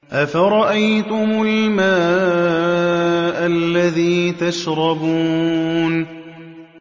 أَفَرَأَيْتُمُ الْمَاءَ الَّذِي تَشْرَبُونَ